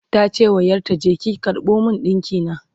tace wa ƴarta "je ki karɓo min dinki na!"